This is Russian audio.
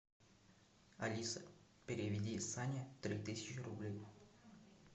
алиса переведи сане три тысячи рублей